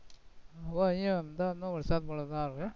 હવે અહીંયા અમદાવાદમાં વરસાદ વરસવા આવે,